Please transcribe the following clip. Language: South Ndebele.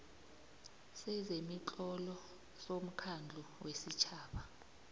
sezemitlolo somkhandlu wesitjhaba